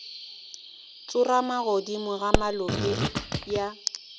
tsorama godimo ga molope ya